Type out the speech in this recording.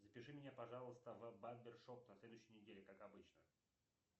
запиши меня пожалуйста в барбершоп на следующей неделе как обычно